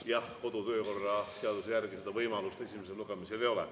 Jah, kodu- ja töökorra seaduse järgi võimalust esimesel lugemisel ei ole.